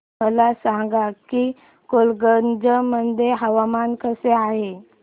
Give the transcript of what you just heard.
मला सांगा की गोलकगंज मध्ये हवामान कसे आहे